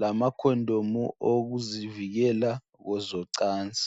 lamakhondomu awokuzivikela kwezocansi.